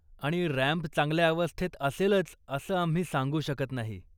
आणि रॅम्प चांगल्या अवस्थेत असेलच असं आम्ही सांगू शकत नाही.